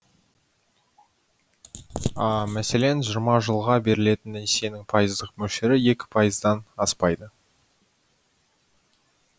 мәселен жиырма жылға берілетін несиенің пайыздық мөлшері екі пайыздан аспайды